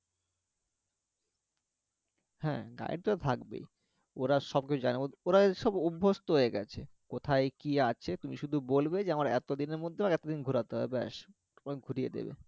হ্যা তা তো থাকবেই ওরা সবকিছু জানে ওরা ওসব অভ্যস্ত হয়ে গেছে কোথায় কি আছে তুমি শুধু বলবে যে আমারা এতোদিনের মধ্যে এতোদিন ঘুরাতে হবে ব্যাস তোমাকে ঘুরিয়ে দিবে